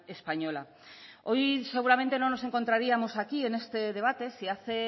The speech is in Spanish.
española hoy seguramente no nos encontraríamos aquí en este debate si hace